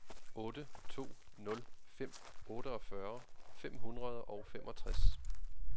otte to nul fem otteogfyrre fem hundrede og femogtres